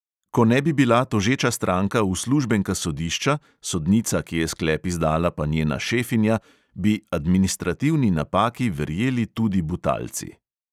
Ko ne bi bila tožeča stranka uslužbenka sodišča, sodnica, ki je sklep izdala, pa njena šefinja, bi administrativni napaki verjeli tudi butalci.